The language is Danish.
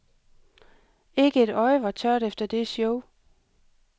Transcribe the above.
Ikke et øje var tørt efter det show.